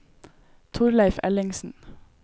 Torleiv Ellingsen